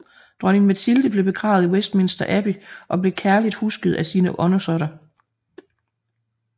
Dronning Matilde blev begravet i Westminster Abbey og blev kærligt husket af sine undersåtter